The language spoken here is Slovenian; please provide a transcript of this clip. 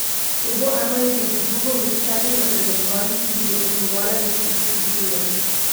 To bo ena izmed drugouvrščenih reprezentanc, ki bodo tekmovale v štirih skupinah.